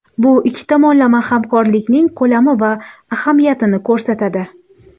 Bu ikki tomonlama hamkorlikning ko‘lami va ahamiyatini ko‘rsatadi.